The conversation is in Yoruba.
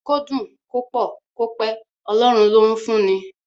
Kó dùn, kó pọ̀, kó pẹ́, Ọlọ́run ló ń fún ni.